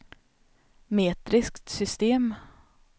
metriskt system